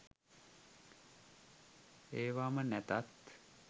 ඒවම නැතත්